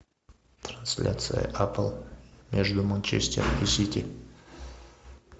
трансляция апл между манчестер и сити